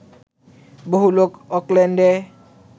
বহু লোক অকল্যান্ডে